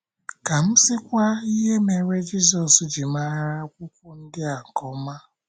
Ka m sịkwa ihe mere Jizọs ji mara akwụkwọ ndi a nke ọma!